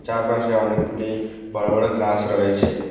চারপাশে অনেকগুলি বড় বড় গাছ রয়েছে।